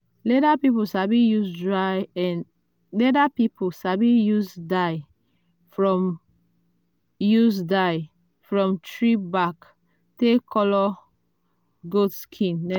leather people sabi use dye from use dye from tree bark take colour goat skin